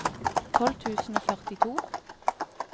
tolv tusen og førtito